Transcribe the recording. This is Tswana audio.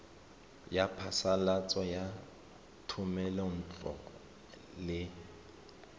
ya phasalatso ya thomelontle le